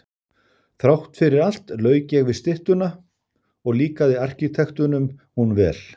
Þrátt fyrir allt lauk ég við styttuna og líkaði arkitektunum hún vel.